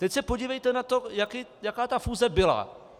Teď se podívejte na to, jaká ta fúze byla.